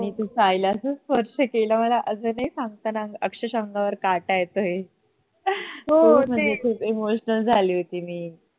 आणि तो शाळेला असा स्पर्श केला अस नाही सांगतांना अक्षरशा अंगावर काटा येतो आहे पूर्ण खुप emotional झाली होती मी